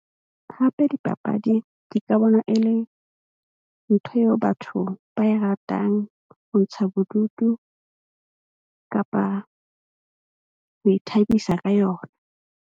Hape, dipapadi ke ka bona e le ntho eo batho ba e ratang ho ntsha bodutu kapa ho ithabisa ka yona.